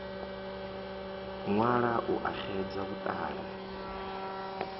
ṅwala u a xedza vhuṱala